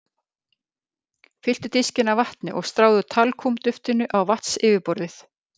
Fylltu diskinn af vatni og stráðu talkúm-duftinu á vatnsyfirborðið.